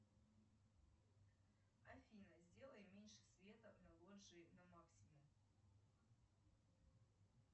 афина сделай меньше света на лоджии на максимум